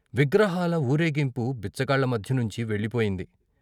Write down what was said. విగ్రహాల వూరేగింపు బిచ్చగాళ్ళ మధ్య నుంచీ వెళ్ళిపోయింది.